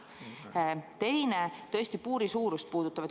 Teine märkus puudutab puuri suurust.